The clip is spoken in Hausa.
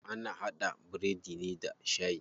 Ana haɗa biredi ne da shayi.